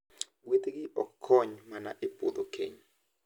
Gweth gi ok kony mana e puodho keny,